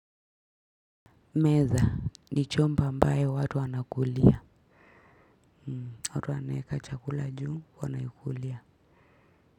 Meza, ni chombo ambae watu wanakulia. Watu waneka chakula juu, wanakulia.